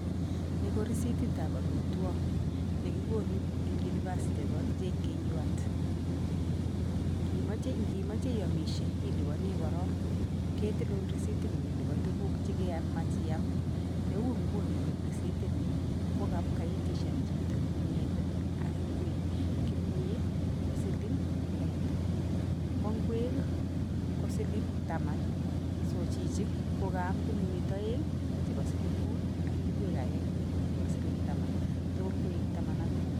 Ni ko risititab amitwook, ne kikonu eng university nebo Jomo Kenyatta University of Agricultural and Technology, ngimoche iamisye iliponi korok, ketilun risitingung nebo tuguk che kemach iam, ne u nguni risitini ko kaitisha chito kimyet ii ak ingwek, kimyet ko siling mut ko ngwek ko siling taman, so chichi ko kaam kimyet oeng chebo siling mut ak ingwek akenge chebo siling taman tugul koek taman ak mut.